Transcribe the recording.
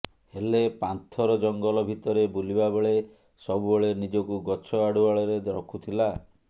ହେଲେ ପାନ୍ଥର ଜଙ୍ଗଲ ଭିତରେ ବୁଲିବା ବେଳେ ସବୁବେଳେ ନିଜକୁ ଗଛ ଆଢୁଆଳରେ ରଖୁଥିଲା